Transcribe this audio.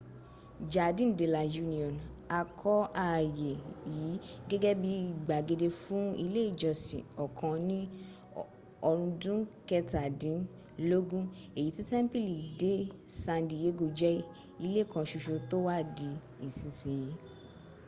jardin de la union. a kọ́ ààyè yí gẹ́gẹ́ bíi gbàgede fún ilé ìjọsìn okan ni orundun ketadinlogun èyí tí tẹ́ḿpìlì de san diego jẹ́ ilé kan soso tó wà di ìsinsìnyí